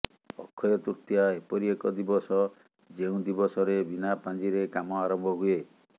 ଅକ୍ଷୟ ତୃତୀୟା ଏପରି ଏକ ଦିବସ ଯେଉଁ ଦିବସରେ ବିନା ପାଞ୍ଜିରେ କାମ ଆରମ୍ଭ ହୁଏ